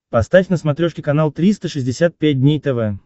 поставь на смотрешке канал триста шестьдесят пять дней тв